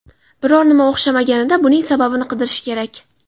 Biror nima o‘xshamaganida buning sababini qidirish kerak.